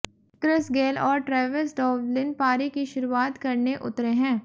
Chris Gayle और Travis Dowlin पारी की शुरुआत करने उतरे हैं